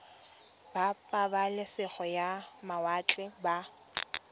ba pabalesego ya mawatle ba